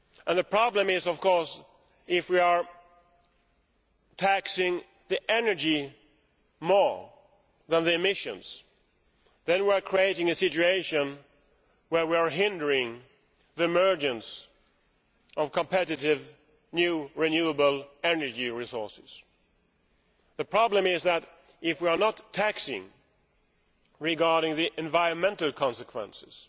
The problem is, of course, that if we tax the energy more than the emissions, we are creating a situation where we are hindering the emergence of competitive new renewable energy resources. The problem is that if we do not tax the environmental consequences,